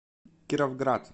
кировград